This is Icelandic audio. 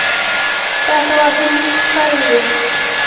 Þetta var því nýtt hverfi.